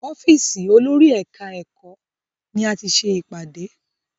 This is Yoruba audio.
Ọ́fìsì olórí ẹ̀ka ẹ̀kọ́ ni a ti ṣe ìpàdé.